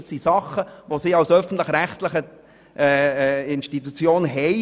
Dies sind Auflagen, die die Regionalkonferenz als öffentlich-rechtliche Institution zu erfüllen hat.